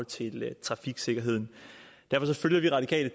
til trafiksikkerheden derfor følger vi radikale